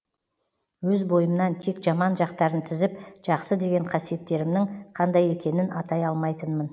өз бойымнан тек жаман жақтарын тізіп жақсы деген қасиеттерімнің қандай екенін атай алмайтынмын